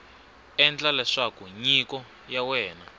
endla leswaku nyiko ya wena